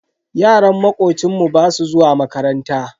Yaran makocinmu basu zuwa makaranta.